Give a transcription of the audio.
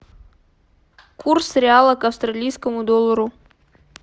курс реала к австралийскому доллару